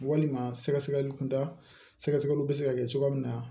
Walima sɛgɛsɛgɛli kunda sɛgɛsɛgɛliw bɛ se ka kɛ cogoya min na